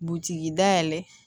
Butigi dayɛlɛ